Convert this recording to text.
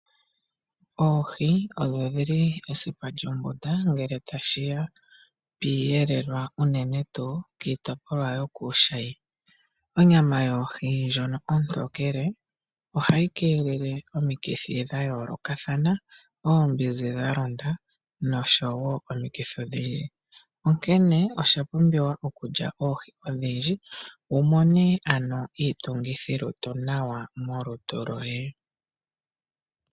Oohi odho dhili esipa lyonguta ngele tashiya piiyelelwa unene tuu kiitopolwa yokuushayi. Onyama yoohi ndjono ontokele ohayi keelele omikithi dha yoolokathana oombinzi dhalonda nosho woo omikithi odhindji. Onkene oshapumbiwa okulya oohi odhindji wumone ano iitungithilutu nawa molutu lwoye.